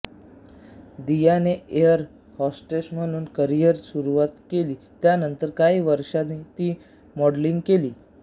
दीयाने air hostess म्हणून करिअरची सुरुवात केली त्यानंतर काही वर्षांनी तिने मॉडेलिंग केली